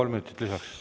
Kolm minutit lisaks.